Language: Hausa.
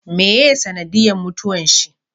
Meye sanadiyan mutuwan shi?